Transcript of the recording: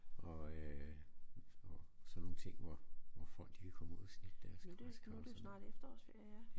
Og øh og sådan nogle ting hvor hvor folk de kan komme ud og snitte deres græskar og